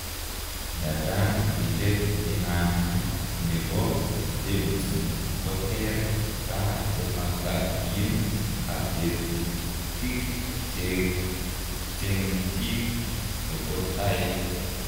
Ndadan kilet inana nepo Davidson ko ter ka chemakatin ak ketuytik cheng chik chepo taek